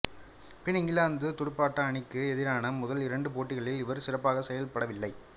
பின் England துடுப்பாட்ட அணிக்கு எதிரான முதல் இரண்டு போட்டிகளில் இவர் சிறப்பாக செயல்படவில்லை